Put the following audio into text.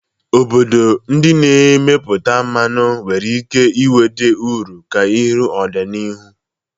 Obodo ndị na-emepụta mmanụ nwere ike nweta uru karịa n'ọdịnihu.